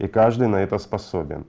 и каждый на это способен